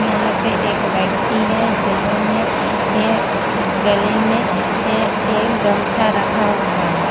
यहां पे एक व्यक्ति है जिन्होंने गले में एक गमछा रखा हुआ है।